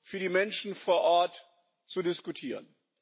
für die Menschen vor Ort zu diskutieren.